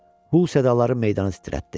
Bu sədaları meydanı titrətdi.